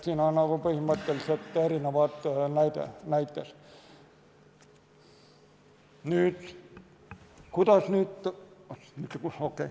Need on põhimõtteliselt erinevad näited.